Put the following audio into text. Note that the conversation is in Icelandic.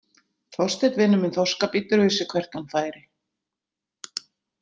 Þorsteinn vinur minn þorskabítur vissi hvert hann færi.